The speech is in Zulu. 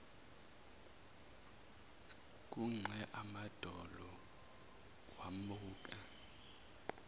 kuxega amadolo wambuka